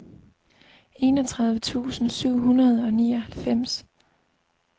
enogtredive tusind syv hundrede og nioghalvfems